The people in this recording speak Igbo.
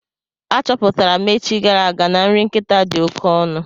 A chọpụtara m echi gara aga na nri nkịta dị oké ọnụ.